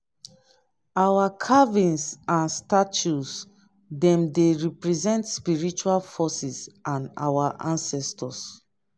our carvings and statues dem dey represent spiritual forces and our ancestors.